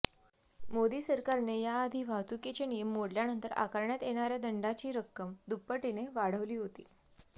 मोदी सरकारने याआधी वाहतुकीचे नियम मोडल्यानंतर आकारण्यात येणाऱ्या दंडाची रक्कम दुप्पटीने वाढवली होती